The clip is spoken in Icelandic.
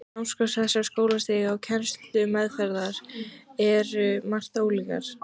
Námskrá þessara skólastiga og kennsluaðferðirnar eru um margt ólíkar.